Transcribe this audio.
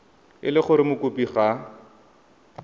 e le gore mokopi ga